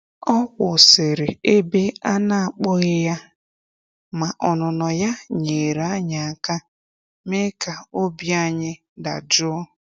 Ọ kwụsịrị ebe a na akpọghị ya, ma ọnụnọ ya nyeere anyị aka me ka obi ayi dajụọ.